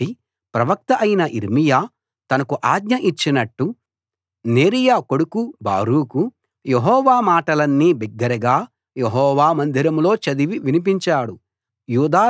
కాబట్టి ప్రవక్త అయిన యిర్మీయా తనకు ఆజ్ఞ ఇచ్చినట్టు నేరీయా కొడుకు బారూకు యెహోవా మాటలన్నీ బిగ్గరగా యెహోవా మందిరంలో చదివి వినిపించాడు